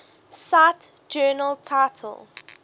cite journal title